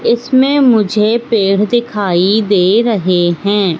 इसमें मुझे पेड़ दिखाई दे रहे हैं।